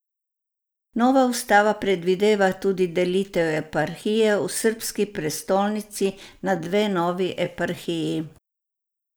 Nova ustava predvideva tudi delitev eparhije v srbski prestolnici na dve novi eparhiji.